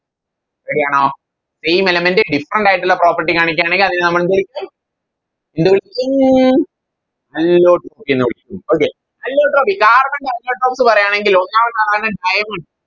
Ready ആണോ Same element different ആയിട്ടുള്ള Property കാണിക്കു ആണെങ്ങിൽ അതിനെ നമ്മളെന്ത് വിളിക്കും എന്ത് വിളിക്കും Allotrope എന്ന് വിളിക്കും okay allotrope carbon ൻറെ Allotropes ന്ന് പറയാണെങ്കിലോ ഒന്നാമത്തെയാളാണ് diamond